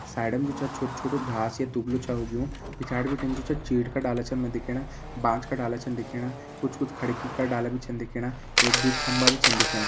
साइडम जु छ छोटु छोटु घास या दुबलु छ उगयूं। पिछाड़ि बिटिन जु छ चीड़ क डाला छन हमे दिखेणा बांज का डाला छन दिखेणा कुछ कुछ खड़ेकि का डाला बि छन दिखेणा। एक दुई खंबा बि छन दिखेणा।